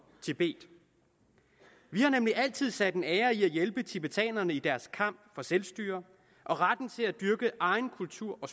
tibet vi har nemlig altid sat en ære i at hjælpe tibetanerne i deres kamp for selvstyre og retten til at dyrke egen kultur og